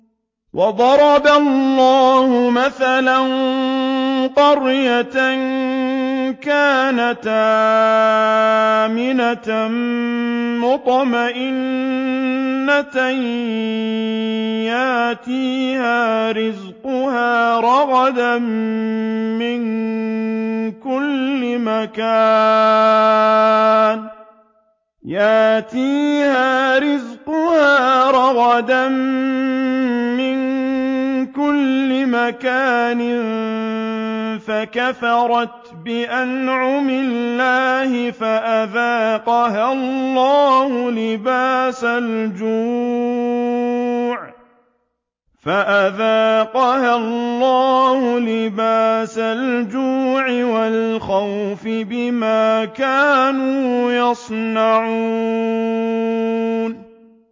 وَضَرَبَ اللَّهُ مَثَلًا قَرْيَةً كَانَتْ آمِنَةً مُّطْمَئِنَّةً يَأْتِيهَا رِزْقُهَا رَغَدًا مِّن كُلِّ مَكَانٍ فَكَفَرَتْ بِأَنْعُمِ اللَّهِ فَأَذَاقَهَا اللَّهُ لِبَاسَ الْجُوعِ وَالْخَوْفِ بِمَا كَانُوا يَصْنَعُونَ